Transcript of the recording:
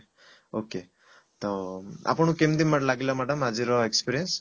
okay ତ ଆପଣଙ୍କୁ କେମତି ଲାଗିଲା madam ଆଜିର experience?